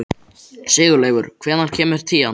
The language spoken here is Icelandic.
Sigurleifur, hvenær kemur tían?